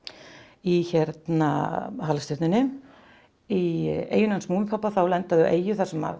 í halastjörnunni í eyjunni hans Múmínpabba þá lenda þau á eyju þar sem